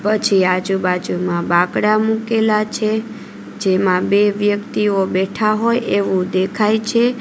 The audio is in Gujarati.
પછી આજુબાજુમાં બાકડા મુકેલા છે જેમાં બે વ્યક્તિઓ બેઠા હોય એવું દેખાય છે.